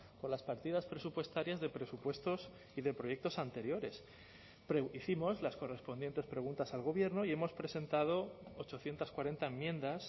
con las partidas presupuestarias de presupuestos y de proyectos anteriores hicimos las correspondientes preguntas al gobierno y hemos presentado ochocientos cuarenta enmiendas